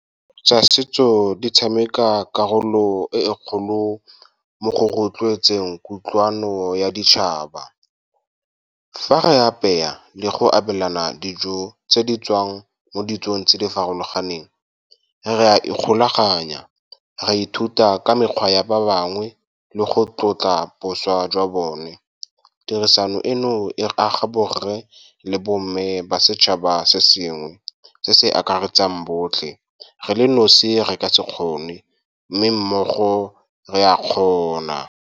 Tsa setso di tshameka karolo e e kgolo mo go rotloetseng kutlwano ya ditšhaba. Fa re apeya le go abelana dijo tse di tswang mo ditsong tse di farologaneng, re a ikgolaganya, re ithuta ka mekgwa ya ba bangwe le go tlotla bošwa jwa bone. Tirisano eno e aga borre le bo mme ba setšhaba se sengwe, se se akaretsang botlhe. Re le nosi reka se kgone, mme mmogo re a kgona.